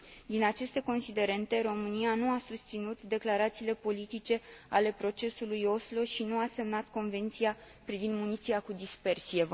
Din aceste considerente, România nu a susținut declarațiile politice ale procesului Oslo și nu a semnat Convenția privind muniția cu dispersie.